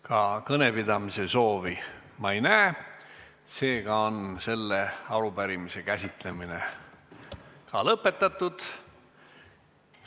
Ka kõnepidamise soovi ma näe, seega on selle arupärimise käsitlemine lõpetatud.